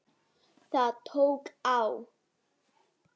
Það tók á.